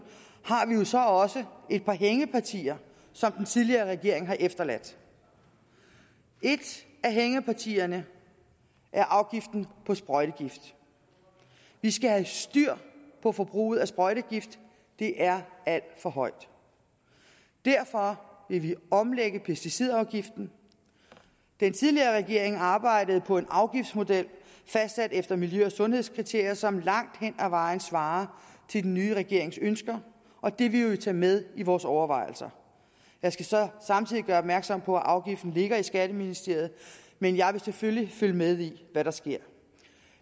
har vi jo så også et par hængepartier som den tidligere regering har efterladt et af hængepartierne er afgiften på sprøjtegift vi skal have styr på forbruget af sprøjtegift det er alt for højt derfor vil vi omlægge pesticidafgiften den tidligere regering arbejdede på en afgiftsmodel fastsat efter miljø og sundhedskriterier som langt hen ad vejen svarer til den nye regerings ønsker og det vil vi tage med i vores overvejelser jeg skal så samtidig gøre opmærksom på at afgiften ligger i skatteministeriet men jeg vil selvfølgelig følge med i hvad der sker